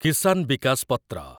କିସାନ ବିକାସ ପତ୍ର